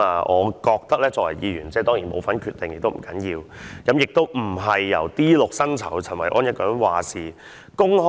我作為議員，雖然不能參與決定，不要緊，但亦並非由 D6 薪酬的陳維安一個人有話事權。